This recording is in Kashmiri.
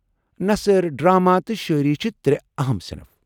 نثر، ڈرامہ تہٕ شاعری چھِ ترٛےٚ اہم صنف۔